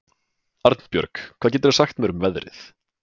Arnbjörg, hvað geturðu sagt mér um veðrið?